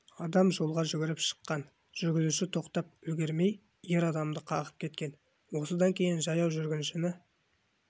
адам жолға жүгіріп шыққан жүргізуші тоқтап үлгермей ер адамды қағып кеткен осыдан кейін жаяу жүргіншіні